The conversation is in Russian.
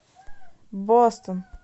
бостон